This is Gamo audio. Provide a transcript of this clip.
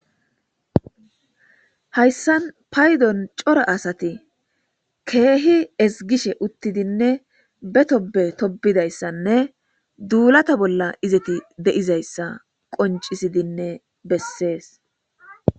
Hayssan paydon cora asati keehi ezgishe be tobbe tobbishenne duulata bolla izeti de'izaysa qonccisidinne bessees.